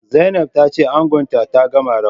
Zainab tace angonta ta gama rawa